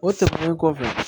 O kɔfɛ